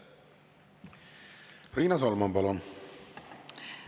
Riina Solman, palun!